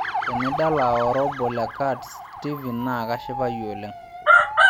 tenidala oora obo le cats steven naa kashipayu oleng'